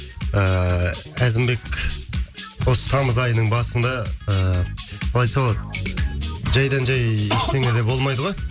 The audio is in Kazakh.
ііі әзімбек осы тамыз айының басында ыыы қалай айтсам болады жайдан жай ештеңе де болмайды ғой